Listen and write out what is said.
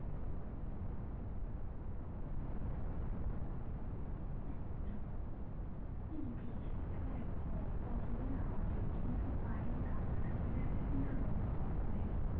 বৃষ্টি হলে ঘরে কত জোরে আওয়াজ হয় কিন্তু বাহিরে দাওয়াটাতে বেরোলে কিন্তু অত আওয়াজ হয় না